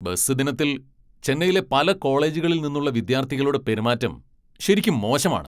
Bus ദിനത്തിൽ ചെന്നൈയിലെ പല കോളേജുകളിൽ നിന്നുള്ള വിദ്യാർത്ഥികളുടെ പെരുമാറ്റം ശരിക്കും മോശമാണ്.